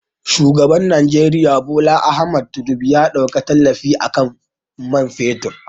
Shugaban Nijeriya Bola Ahmed Tinubu ya ɗauke tallafi akan man fetur